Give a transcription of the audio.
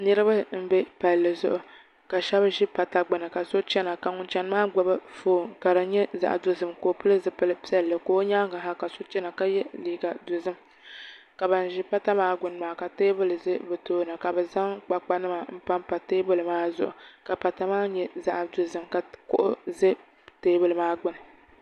Niraba n bɛ paali zuɣu ka shab ʒi pata gbuni ka shab chɛna ka ŋun chɛni maa gbubi foon ka di nyɛ zaɣ dozim ka o pili zipili piɛlli ka o nyaangi ha ka so chɛna ka yɛ liiga dozim ka ban ʒi pata maa gbuni maa ka teebuli ʒɛ bi tooni ka bi zaŋ kpakpa nima n panpa teebuli maa zuɣu ka pata maa nyɛ zaɣ dozim ka kuɣu ʒɛ teebuli maa gbuni